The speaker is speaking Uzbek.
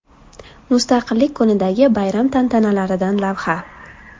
Mustaqillik kunidagi bayram tantanalaridan lavha.